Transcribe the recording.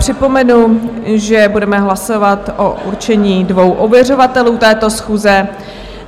Připomenu, že budeme hlasovat o určení dvou ověřovatelů této schůze.